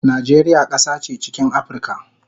Najeriya kasa che chikin Aprica